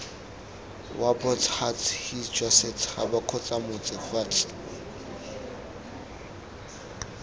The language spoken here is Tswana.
wabots huts hisijwasets habakgotsamots huts